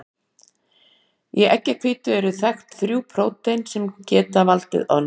Í eggjahvítu eru þekkt þrjú prótein sem geta valdið ofnæmi.